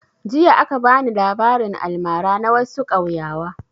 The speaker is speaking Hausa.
Jiya aka bani labarin almara na wassu kauyawa